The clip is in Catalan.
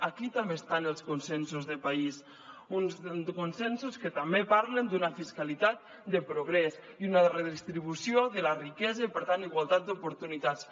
aquí també estan els consensos de país uns consensos que també parlen d’una fiscalitat de progrés i una redistribució de la riquesa i per tant igualtat d’oportunitats